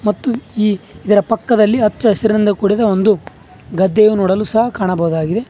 ಮತ್ತು ಈ ಇದರ ಪಕ್ಕದಲ್ಲಿ ಹಚ್ಚ ಹಸಿರಿಂದ ಕೂಡಿದ ಒಂದು ಗದ್ದೆಯು ನೋಡಲು ಸಹ ಕಾಣಬಹುದಾಗಿದೆ.